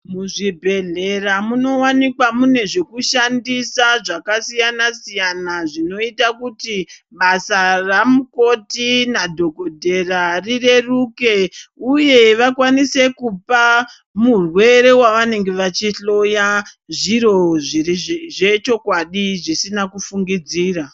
Muzvibhedhlera munowanikwa mune zvekushandisa zvakasiyana siyana zvinoita kuti basa ramukoti nadhokodheya rireruke uye vakwanise kupa mureere wavanenge vachihloya zviro zvechokwadi zvisina kufungidzira.